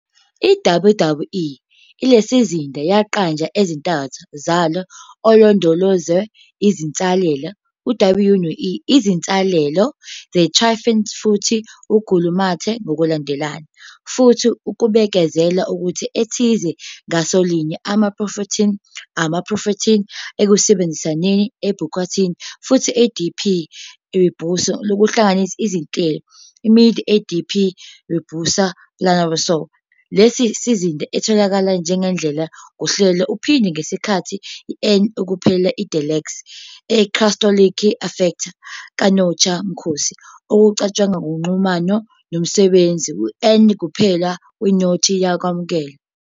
I WWE lesizinda yaqanjwa ezintathu zalo alondolozwe izinsalela, W no-E izinsalela, tryptophans futhi glutamate ngokulandelana, futhi kubikezelwa ukuthi ethize ngasolinye amaprotheni-amaprotheni ekusebenzisaneni e ubiquitin futhi Adp ribose lokuhlanganisa izinhlelo, midi Adp ribose polymerase, Lesi sizinda itholakala njengendlela Ngohlelo uphinda ngesikhathi N-ukuphela Deltex, a cytosolic effector ka Notch mkhosi okucatshangwa uxhumano nomsebenzisi N-ukuphela kwe-Notch yokwamukela.